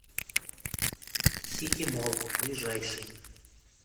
сити молл ближайший